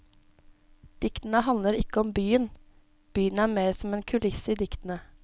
Diktene handler ikke om byen, byen er mer som en kulisse i diktene.